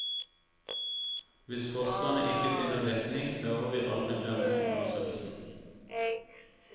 Hvis forskerne ikke finner dekning, hører vi aldri mer om undersøkelsen.